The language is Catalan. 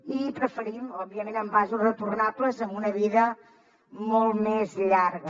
i preferim òbviament envasos retornables amb una vida molt més llarga